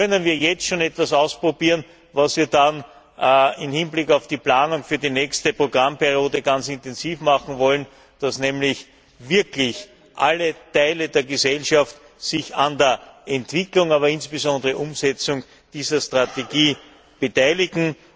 Hier können wir jetzt schon etwas ausprobieren, was wir dann im Hinblick auf die Planung für die nächste Programmperiode ganz intensiv machen wollen, dass nämlich wirklich alle Teile der Gesellschaft sich an der Entwicklung, aber insbesondere auch der Umsetzung dieser Strategie beteiligen.